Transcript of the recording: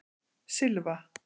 Silva